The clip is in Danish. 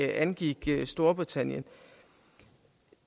angik storbritannien